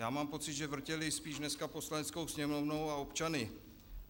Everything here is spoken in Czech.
Já mám pocit, že vrtěli spíš dneska Poslaneckou sněmovnou a občany.